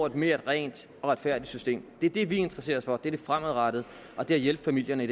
et mere rent og retfærdigt system det er det vi interesserer os for nemlig det fremadrettede og det at hjælpe familierne i